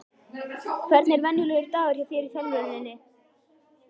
Hvernig er venjulegur dagur hjá þér í þjálfuninni?